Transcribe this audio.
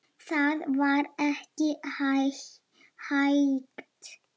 Það var ekki hægt.